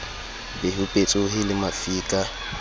be ho petsohe le mafika